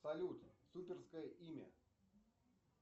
салют суперское имя